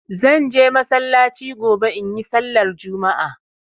Zan je masallaci gobe in yi sallar Juma'a.